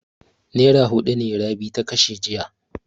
Nera maitan ne Rabi ta kashe jiya.